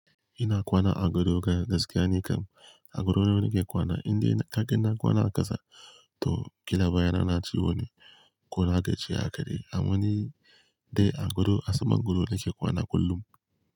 Ina kwana a gado gaskiya nikan. A gado na nake kwana indai kaga na kwana a ƙasa to kila bayana na ciwo ne ko na gaji haka dai. Amma ni dai a gado a saman gado nake kwana kullum.